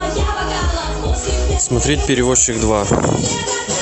смотреть перевозчик два